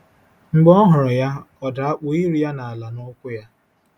Mb͕e ọ huru ya, ọ da kpue iru-ya n'ala n'ukwu-ya.